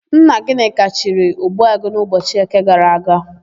Nna Gịnịka chiri, Ogbuagụ n'ụbọchị Eke gara aga.